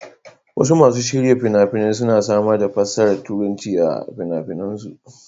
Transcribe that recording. Wasu masu shirya fina-fina suna samar da fassarar Turanci a fina-finansu.